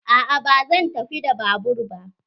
A'a ba zan tafi da babur ba.